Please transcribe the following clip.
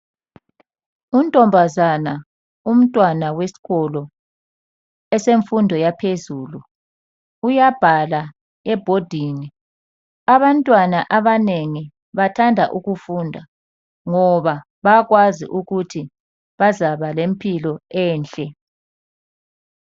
Untombazana umntwana wesikolo esemfundo yaphezulu uyabhala ebhodini. Abantwana abanengi bathanda ukufunda ngoba bayakwazi ukuthi bazaba lempilo enhle.